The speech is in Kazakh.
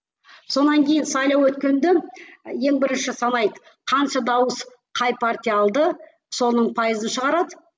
сонан кейін сайлау өткенде ең бірінші санайды қанша дауыс қай партия алды соның пайызын шығарады